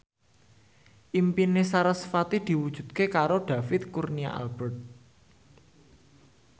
impine sarasvati diwujudke karo David Kurnia Albert